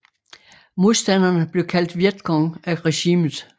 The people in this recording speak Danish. Modstanderne blev kaldt Viet Cong af regimet